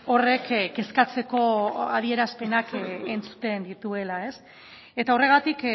horrek kezkatzeko adierazpenak entzuten dituela eta horregatik